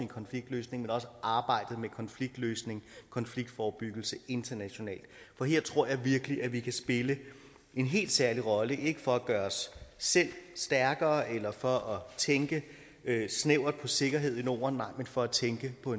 konfliktløsning men også arbejdet med konfliktløsning og konfliktforebyggelse internationalt for her tror jeg virkelig at vi kan spille en helt særlig rolle ikke for at gøre os selv stærkere eller for at tænke snævert på sikkerheden i norden men for at tænke på